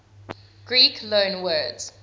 greek loanwords